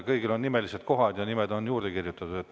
Kõigil on nimelised kohad ja nimed on juurde kirjutatud.